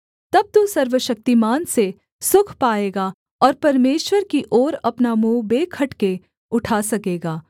तब तू सर्वशक्तिमान से सुख पाएगा और परमेश्वर की ओर अपना मुँह बेखटके उठा सकेगा